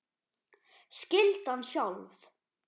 Skyldan sjálf